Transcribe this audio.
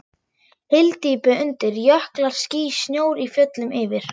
Hyldýpi undir, jöklar, ský, snjór í fjöllum yfir.